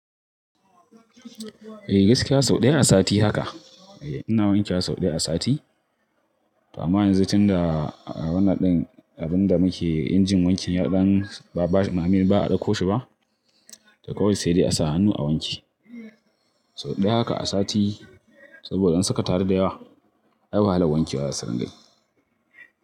Eh gaskiya sau ɗaya a sati haka. Eh ina wanke wa sau ɗaya a sati. To amma yanzu tunda wannan din abun da muke injin wankin yadan ba a ɗauko shi ba, toh kawai sai dai a sa hannu a wanke. Sau ɗaya haka a sati saboda in saka taru da yawa ai wahalan wanke wa za su dinga yi.